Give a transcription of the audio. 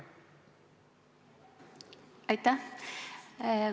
Aitäh!